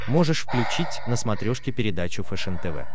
можешь включить на смотрешке передачу фэшен тв